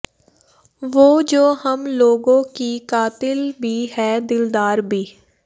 ਵੋ ਜੋ ਹਮ ਲੋਗੋਂ ਕੀ ਕਾਤਿਲ ਭੀ ਹੈ ਦਿਲਦਾਰ ਭੀ